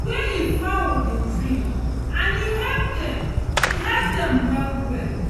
wey e fowl dey drink and e help dem e help dem well well